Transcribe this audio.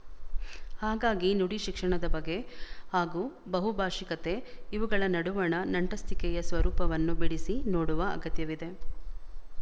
ಹಾಗಾಗಿ ನುಡಿ ಶಿಕ್ಷಣದ ಬಗೆ ಹಾಗೂ ಬಹುಭಾಶಿಕತೆ ಇವುಗಳ ನಡುವಣ ನಂಟಸ್ತಿಕೆಯ ಸ್ವರೂಪವನ್ನು ಬಿಡಿಸಿ ನೋಡುವ ಅಗತ್ಯವಿದೆ